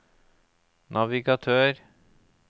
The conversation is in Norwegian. navigatør